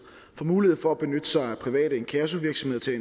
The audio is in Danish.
får mulighed for at benytte sig af private inkassovirksomheder til